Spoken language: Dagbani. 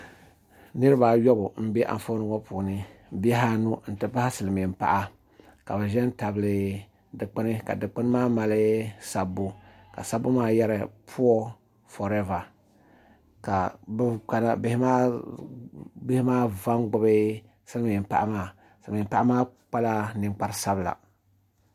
Niraba ayobu n bɛ Anfooni ŋɔ puuni bihi anu n ti pahi silmiin paɣa ka bi ʒɛ n tabi dikpuni ka dikpuni maa mali sabbu sabbu maa yɛrila puuo forɛva ka bihi maa va n gbubi silmiin paɣa maa silmiin paɣa maa kpala ninkpari sabila